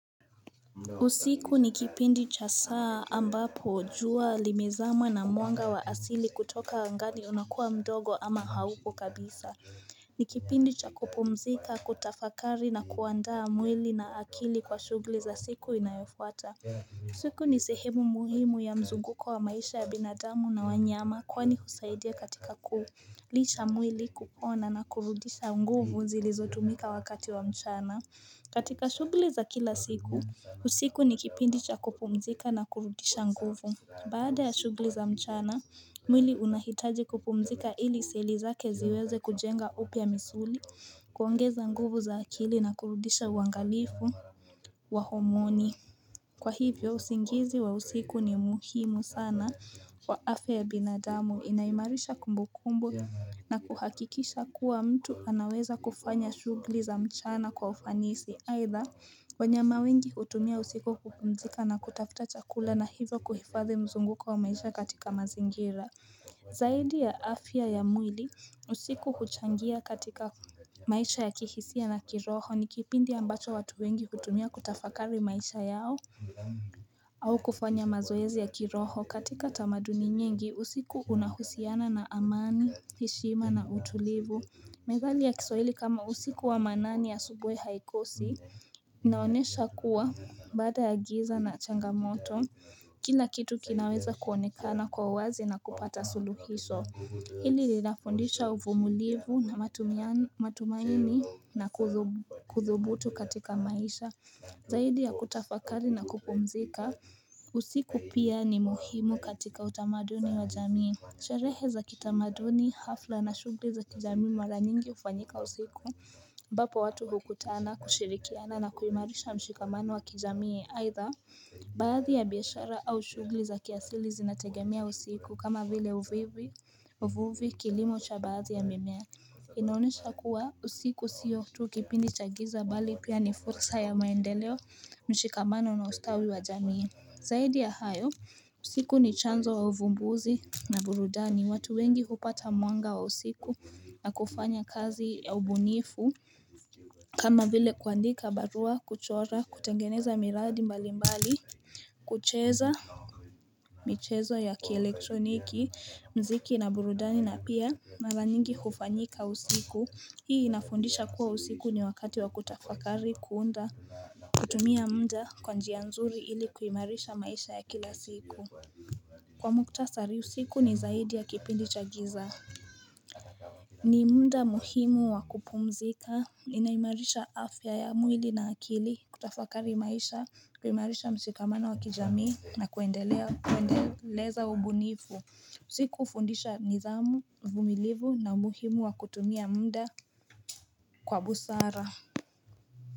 Usiku ni kipindi cha saa ambapo jua limezama na mwanga wa asili kutoka angani unakuwa mdogo ama haupo kabisa. Ni kipindi cha kupumzika, kutafakari na kuandaa mwili na akili kwa shughuli za siku inayofuata. Usiku ni sehemu muhimu ya mzunguko wa maisha ya binadamu na wanyama kwani husaidia katika kuulicha mwili kukona na kurudisha nguvu zilizotumika wakati wa mchana. Katika shugle za kila siku. Usiku ni kipindi cha kupumzika na kurudisha nguvu Baada ya shughuli za mchana, mwili unahitaji kupumzika ili seli zake ziweze kujenga upya misuli kuangeza nguvu za akili na kurudisha uangalifu wa homoni Kwa hivyo, usingizi wa usiku ni muhimu sana Kwa afya yabinadamu, inaimarisha kumbukumbu na kuhakikisha kuwa mtu anaweza kufanya shughuli za mchana kwa ufanisi Haidha, wanyama wengi hutumia usiku kupumzika na kutafuta chakula na hivyo kuhifadhi mzunguko wa maisha katika mazingira Zaidi ya afya ya mwili, usiku kuchangia katika maisha ya kihisia na kiroho ni kipindi ambacho watu wengi hutumia kutafakari maisha yao au kufanya mazoezi ya kiroho katika tamaduni nyingi, usiku unahusiana na amani, heshima na utulivu Methali ya kisawili kama usiku wa manani asubuhi haikosi, naonesha kuwa baada ya giza na changamoto, kila kitu kinaweza kuonekana kwa uwazi na kupata suluhiso. Hili linafundisha uvumulivu na matumaini na kuthubutu katika maisha, zaidi ya kutafakari na kupumzika. Usiku pia ni muhimu katika utamaduni wa jamii. Sherehe za kitamaduni hafla na shughili za kijamii mara nyingi ufanyika usiku ambapo watu bukutana kushirikiana na kuimarisha mshikamano wa kijamii haitha Baadhi ya biashara au shughuli za kiasili zinategemia usiku kama vile uvuvi kilimo cha baadhi ya mimea inaonyesha kuwa usiku sio tu kipindi cha giza bali pia ni fursa ya maendeleo mshikamano na ustawi wa jamii zaidi ya hayo usiku ni chanzo wa uvumbuzi na burudani watu wengi hupata mwanga wa usiku na kufanya kazi ya ubunifu kama vile kuandika barua kuchora kutengeneza miradi mbali mbali kucheza michezo ya kielektroniki mziki na burudani na pia mara nyingi kufanyika usiku hii inafundisha kuwa usiku ni wakati wa kutafakari kuunda kutumia muda kwa njia nzuri ili kuimarisha maisha ya kila siku Kwa mkutasari usiku ni zaidi ya kipindi cha giza ni muda muhimu wa kupumzika inaimarisha afya ya mwili na akili kutafakari maisha kuimarisha msikamana wa kijamii na kuendeleza ubunivu siku ufundisha nidhamu, uvumilivu na umuhimu wa kutumia muda kwa busara.